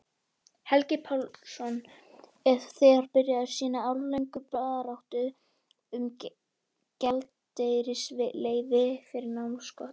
Helgi Pálsson er þegar byrjaður sína áralöngu baráttu um gjaldeyrisleyfi fyrir námskostnaði.